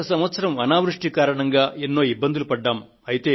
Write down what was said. గత సంవత్సరం అనావృష్టి కారణంగా ఎన్నో ఇబ్బందులు పడ్డాము